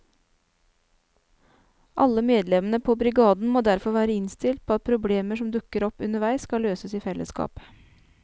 Alle medlemmene på brigaden må derfor være innstilt på at problemer som dukker opp underveis skal løses i fellesskap.